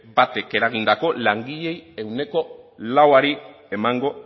batek eragindako langileen ehuneko lauari emango